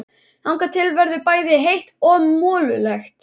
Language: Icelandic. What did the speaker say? Þangað til verður bæði heitt og mollulegt.